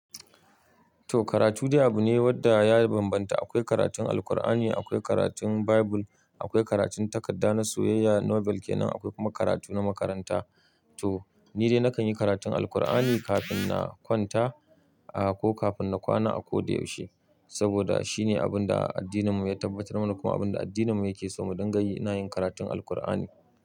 To karatu dai abu ne wanda ya bambanta. Akwai karatun Alqur'ani, akwai karatun Bible, akwai karatun takarda na soyayya Nobel ke nan, akwai kuma karatu na makaranta. To ni dai nakan yi karatun Alqur'ani kafin na kwanta, ah ko kafin na kwana a koda yaushe. Saboda shi ne abin da addininmu ya tabbatar mana, kuma abin da addininmu yake so. Mu dangayi nayin karatun Alqur'ani.